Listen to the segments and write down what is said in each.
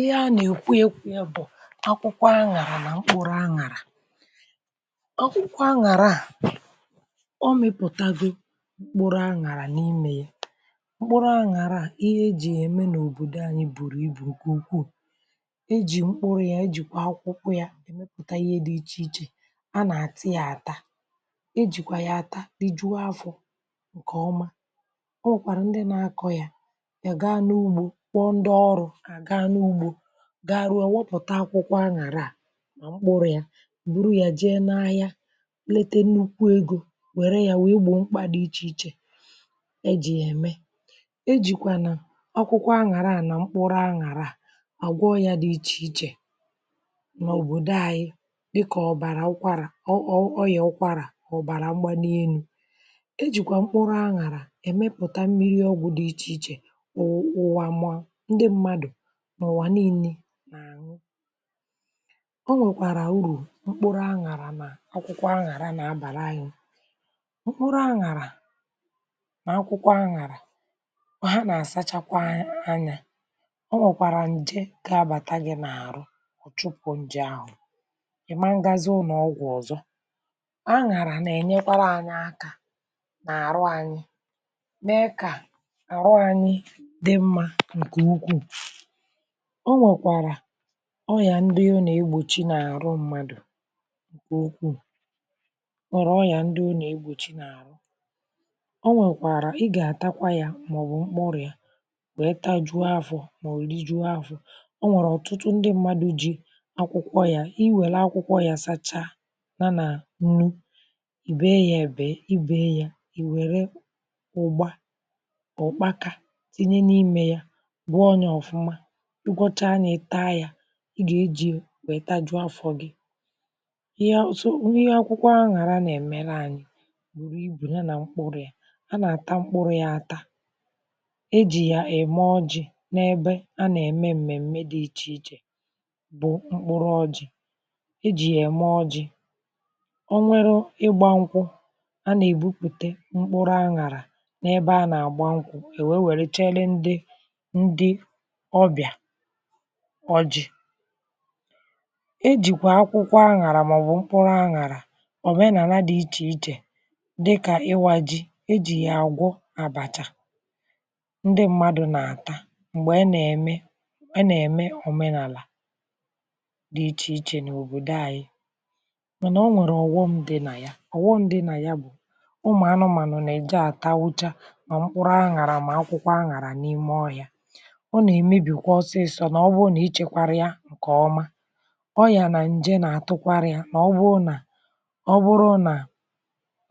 ihe a nà-èkwu ekwu ya bụ̀ akwụkwọ aṅàrà nà mkpụrụ̇ aṅàrà akwụkwọ aṅàra à ọ mịpụ̀tago mkpụrụ aṅàrà n’imė ya mkpụrụ aṅàra à ihe e jì ème n’òbòdò anyị bùrù ibù nke ukwuu e jì mkpụrụ ya, e jìkwà akwụkwọ ya mepụta ihe dị̇ ichè ichè a nà-àtị yȧ àta e jìkwà yà àta dị jụụ afọ̀ ǹkèọma o nwèkwàrà ndị na-akọ ya ya gaa n’ugbȯ ndị ọrụ ga-arụ ọwụpụ̀ta akwụkwọ aṅàrà mkpụrụ ya bụrụ yà jee n’ahịa lete nnukwu egȯ wère ya wèe gbòo mkpȧ dị ichè ichè ejì ya ème ejìkwà nà ọkụkwọ aṅàra a nà mkpụrụ aṅàrà àgwọọ ya dị̇ ichè ichè nà òbòdò ahịịa dịkà ọ̀bàrà ụkwarà ọ ọ ọ ọ ya ụkwarà ọ̀bàrà mgbȧ n’enu ejìkwà mkpụrụ aṅàra èmepùta mmiri ọgwụ̇ dị ichè ichè ụ̀wa ma ndị mmadụ̀ n’ụ̀wà niilė n’ànyị ọ nwèkwàrà urù mkpuru aṅàrà nà akwụkwọ aṅàrà nà-abàra anyi mkpuru aṅàrà nà akwụkwọ aṅàrà ha nà-àsachakwa anyȧ ọ nwèkwàrà ǹje keabàta gị n’àrụ ọ̀ chụ̀pụ̀ ǹje ahụ̀ ị̀ ma ngazị ụnọ̀ ọgwụ̀ ọ̀zọ aṅàrà nà-ènyekwara anyị aka nà-àrụ anyị mee kà àrụ anyị dị mmȧ ǹkè ukwù ọ nwèkwàrà ọ yà ndị o nà-egbòchi n’àrụ mmadù okwuù ọ nwèrè ọ yà ndị o nà-egbòchi n’àrụ ọ nwèkwàrà ị gà-àtakwa yȧ màọbụ̀ mkpụrụ yȧ bụ̀ ịtȧ jụọ afọ̇ màọbụ̀ ụ̀ri jụọ afọ̇ ọ nwèrè ọ̀tụtụ ndị mmadù ji akwụkwọ yȧ i wère akwụkwọ yȧ sachaa na nà nnu ì bèe yȧ èbèe ị bèe yȧ ì wère ụgbȧ ọ̀kpakȧ tinye n’imė yȧ bụọ onye ọ̀fụma ị gọcha anyȧ taa yȧ ị gà-eji wèe tajuo afọ̇ gị ihe ha so ihe akwụkwọ aṅàrà nà-èmela anyị̇ bùrù ibù ya nà mkpụrụ yȧ a nà-àta mkpụrụ yȧ ata e jì yà ème ọjị̇ n’ebe a nà-ème m̀mèm̀me dị ichè ichè bụ̀ mkpụrụ ọjị̇ e jì yà ème ọjị̇ o nweru ịgbȧ nkwụ̇ a nà-èbupùte mkpụrụ aṅàrà n’ebe a nà-àgba nkwụ̇ e wee wère chere ndị ndị ọbịà ọjị̀ ejìkwà akwụkwọ aṅàrà màọbụ̀ mkpụrụ aṅàrà òmenàla dị̀ ichè ichè dịkà iwȧ ji ejì yà gwọ àbàchà ndị mmadụ̀ nà-àta m̀gbè ị nà-ème ị nà-ème òmenàlà dị̀ ichè ichè n’òbòdò ayị mànà o nwèrè ọ̀gwọṁ dị nà ya ọ̀gwọṁ dị̀ nà ya bụ̀ ụmụ̀ anụ̇mànụ̀ nà-èji àta ucha mà mkpụrụ aṅàrà mà akwụkwọ aṅàrà n’ime ọhịȧ ǹkè ọma ọ yà nà ǹje nà atụkwarịa nà ọ bụrụ nà ọ bụrụ nà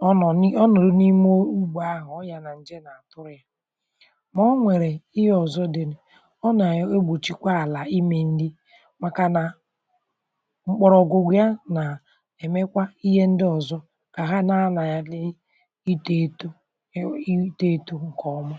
ọ nọ̀ nị ọ nọ̀rụ n’ime ugbȯ ahụ̀ ọ yà nà ǹje nà atụrụ yȧ mà ọ nwèrè ihe ọ̀zọ dị̀ ọ nà egbòchikwa àlà imė ṅli màkà nà mkpọrọ̀gwù ya nà èmekwa ihe ndị ọ̀zọ kà ha na-anȧ ya lee itȯ etu itȯ etu ǹkè ọma